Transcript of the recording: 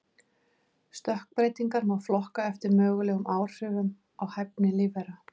Stökkbreytingar má flokka eftir mögulegum áhrifum á hæfni lífvera.